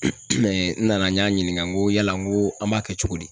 n nana n y'a ɲininka n ko yala n ko an b'a kɛ cogo di ?